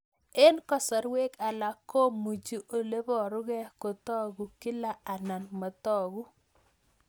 Eng' kasarwek alak komuchi ole parukei kotag'u kila anan matag'u